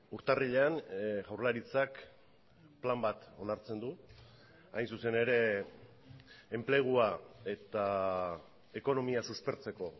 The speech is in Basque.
urtarrilean jaurlaritzak plan bat onartzen du hain zuzen ere enplegua eta ekonomia suspertzeko